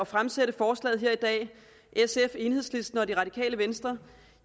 fremsætte forslaget her i dag sf enhedslisten og det radikale venstre